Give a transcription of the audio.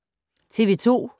TV 2